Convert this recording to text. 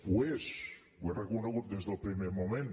ho és ho he reconegut des del primer moment